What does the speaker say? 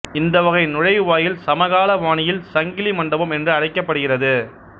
இந்த வகை நுழைவாயில் சமகால பாணியில் சங்கிலி மண்டபம் என்று அழைக்கப்படுகிறது